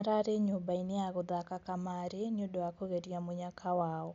Mararĩ nyũmbainĩ ya gũthaka kamarĩ, nĩũndũ wa kũgeria mũnyaka wao.